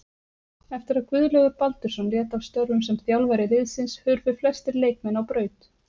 Eftir að Guðlaugur Baldursson lét af störfum sem þjálfari liðsins hurfu flestir leikmenn á braut.